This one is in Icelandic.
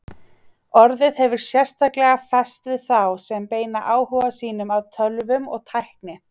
Orðið hefur sérstaklega fest við þá sem beina áhuga sínum að tölvum og tækni.